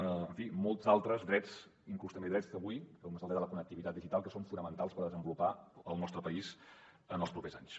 en fi molts altres drets inclús també drets d’avui com és el dret a la connectivitat digital que són fonamentals per desenvolupar el nostre país en els propers anys